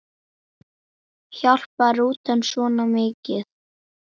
Hjálpar rútan svona mikið?